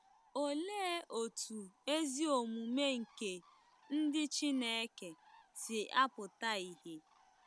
Olee otú ezi omume nke ndị Chineke si apụta ìhè?